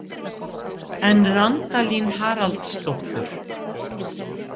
En Randalín Haraldsdóttur?